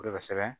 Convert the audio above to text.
De bɛ sɛbɛn